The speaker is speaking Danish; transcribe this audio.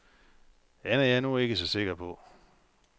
Den er jeg nu ikke så sikker på.